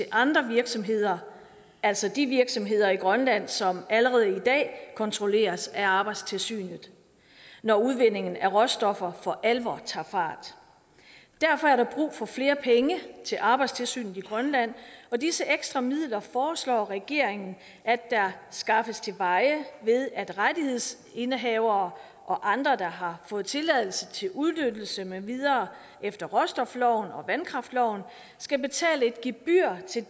andre virksomheder altså de virksomheder i grønland som allerede i dag kontrolleres af arbejdstilsynet når udvindingen af råstoffer for alvor tager fart derfor er der brug for flere penge til arbejdstilsynet i grønland disse ekstra midler foreslår regeringen skaffes til veje ved at rettighedsindehavere og andre der har fået tilladelse til udnyttelse med videre efter råstofloven og vandkraftloven skal betale et gebyr til